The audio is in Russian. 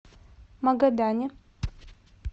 магадане